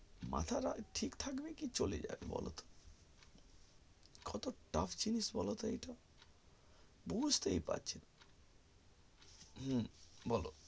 মাথাটা ঠীক থাকবে কি চলে যাবে বলো কত tuff জিনিস বলতো এইটা বুঝতেই পারছিনা হু বল